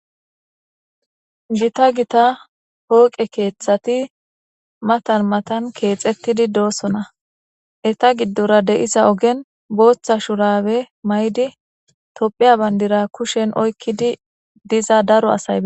Gita gita hooqe keeththati matan matan keexettidi doosona eta giddora de7isa ogen booththa shurawe may7di tophiya bayndira kushen oykkidi diza daro asaya.